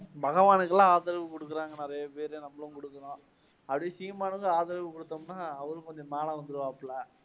பகவானுக்கெல்லாம் ஆதரவு குடுக்கறாங்க நிறைய பேர், நம்மளும் கொடுக்கிறோம், அப்படியே சீமானுக்கும் ஆதரவு குடுத்தோம்னா அவரும் கொஞ்சம் மேல வந்திடுவாப்ல.